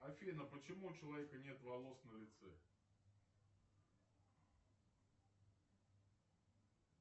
афина почему у человека нет волос на лице